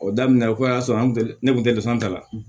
O daminɛ o y'a sɔrɔ an tɛ ne kun tɛ dɛ fɛn dɔ la